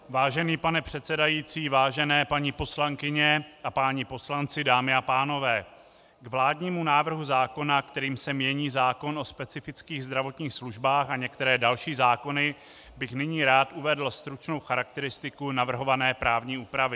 Vážený pane předsedající, vážené paní poslankyně a páni poslanci, dámy a pánové, k vládnímu návrhu zákona, kterým se mění zákon o specifických zdravotních službách a některé další zákony, bych nyní rád uvedl stručnou charakteristiku navrhované právní úpravy.